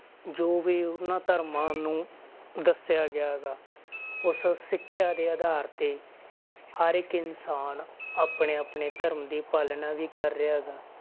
ਜੋ ਵੀ ਉਹਨਾਂ ਧਰਮਾਂ ਨੂੰ ਦੱਸਿਆ ਗਿਆ ਗਾ, ਉਸ ਸਿੱਖਿਆ ਦੇ ਆਧਾਰ ਤੇ ਹਰ ਇੱਕ ਇਨਸਾਨ ਆਪਣੇ ਆਪਣੇ ਧਰਮ ਦੀ ਪਾਲਣਾ ਵੀ ਕਰ ਰਿਹਾ ਗਾ।